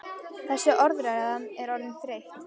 Þessi orðræða er orðin þreytt!